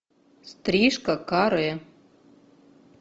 стрижка каре